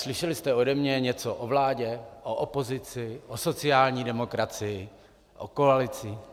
Slyšeli jste ode mě něco o vládě, o opozici, o sociální demokracii, o koalici?